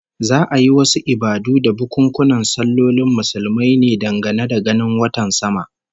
Za'a yi wasu ibadu da bukunkunan sallolin Muslumai ne dangane da ganin watan sama